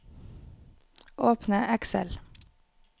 Åpne Excel